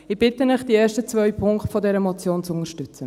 Ich bitte Sie, die ersten zwei Punkte dieser Motion zu unterstützen.